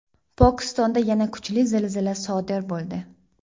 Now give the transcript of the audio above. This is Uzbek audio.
Pokistonda yana kuchli zilzila sodir bo‘ldi.